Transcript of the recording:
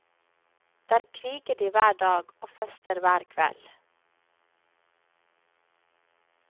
Der kriger de hver dag og fester hver kveld.